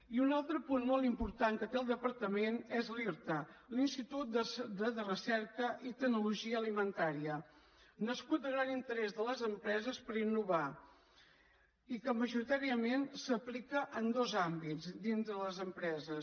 i un altre punt molt important que té el departament és l’irta l’institut de recerca i tecnologia alimentària nascut del gran interès de les empreses per innovar i que majoritàriament s’aplica en dos àmbits dins de les empreses